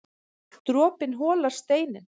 Dropinn holar steininn